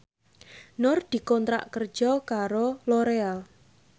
Nur dikontrak kerja karo Loreal